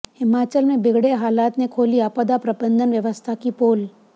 हिमाचल में बिगड़े हालात ने खोली आपदा प्रबंधन व्यवस्था की पोल